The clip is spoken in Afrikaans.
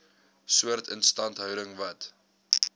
soort instandhouding wat